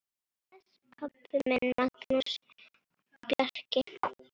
Bless, pabbi minn, Magnús Bjarki.